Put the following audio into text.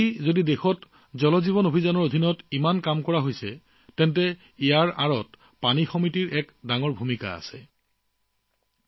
আজি যদি জল জীৱন মিছনৰ বাবে দেশত ইমান কাম চলি আছে তেন্তে ইয়াৰ আঁৰত জল সমিতিৰ ভূমিকা অতি গুৰুত্বপূৰ্ণ